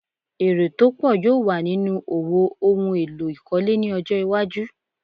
Èrè tó pọ̀ yóò wà nínú òwò ohun èlò ìkọ́le ní ọjọ́ iwájú.